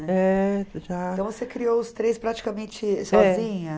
É, Já. Então você criou os três praticamente sozinha?